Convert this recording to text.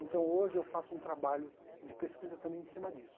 Então hoje eu faço um trabalho de pesquisa também em cima disso.